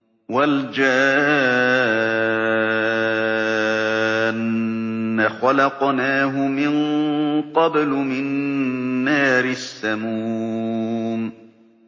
وَالْجَانَّ خَلَقْنَاهُ مِن قَبْلُ مِن نَّارِ السَّمُومِ